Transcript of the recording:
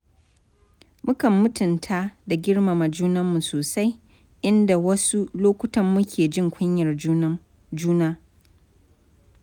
Mukan mutunta da girmama junanmu sosai, inda wasu lokutan muke jin kunyar juna.